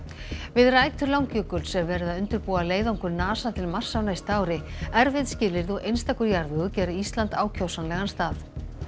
við rætur Langjökuls er verið að undirbúa leiðangur NASA til Mars á næsta ári erfið skilyrði og einstakur jarðvegur gera Ísland ákjósanlegan stað